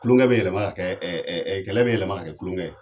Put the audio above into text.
kulonkɛ be yɛlɛma ka kɛ ɛ ɛ kɛlɛ be yɛlɛma ka kɛ kulonkɛ ye